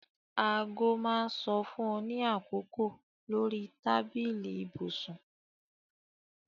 Aago máa ń sọ fún ọ ní àkókò lórí tábìlì ibùsùn